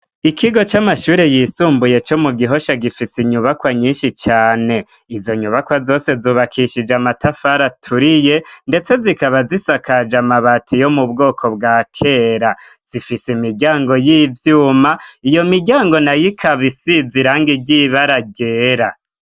Ikigo c'amashure yisumbuye co mugihosha gifise inyubakwa nyinshi cane. Izonyubakwa zose zubakishije amatafari aturiye ndetse zikaba zisakaje amabati yo m'ubwoko bwa kera, zifise imiryango y'ivyuma, iyomiryango nayo ikaba isiz'irangi ry'ibara ryera.